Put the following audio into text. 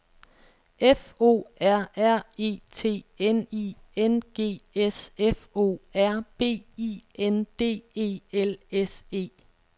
F O R R E T N I N G S F O R B I N D E L S E